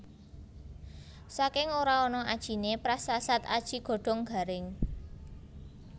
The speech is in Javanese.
Saking ora ana ajiné prasasat aji godhong garing